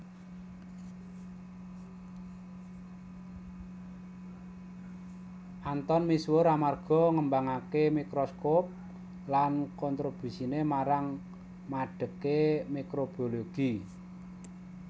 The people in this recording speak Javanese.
Anton misuwur amarga ngembangaké mikroskop lan kontrobusiné marang madegé mikrobiologi